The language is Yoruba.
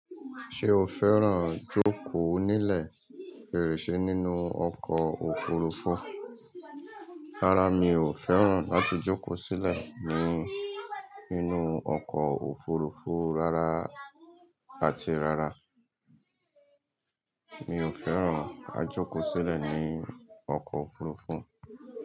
Ṣé o fẹ́ràn jókòó nílẹ̀ fèrèsé nínú ọkọ̀ òfurufú? Rárá, mi ò fẹ́ràn láti jókòó sílẹ̀ ní ínú ọkọ̀ òfurufú rárá, àti rárá. Mi ò fẹ́ràn ká jókòó sílẹ̀ ní ọkọ̀ òfurufú.